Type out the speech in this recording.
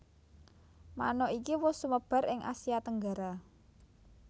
Manuk iki wus sumebar ing Asia Tenggara